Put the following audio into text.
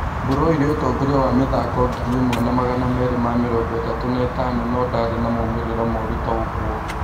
Mburu oire ũtongoria wa mĩthako ngiri ĩmwe na magana merĩ ma mĩrongo ĩtatũ na ĩtano no ndarĩ na maumĩrĩra moru ta ũguo